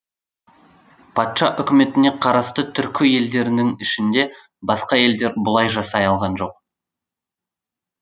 патша үкіметіне қарасты түркі елдерінің ішінде басқа елдер бұлай жасай алған жоқ